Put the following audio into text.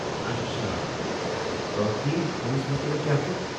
اچھا تہٕ ٲخری فنس متعلق کیٛاہ چھ؟